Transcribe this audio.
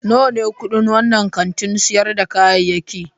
Nawa ne kudin wannan kantin sayar da kayayyaki?